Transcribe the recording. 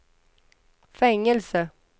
fängelse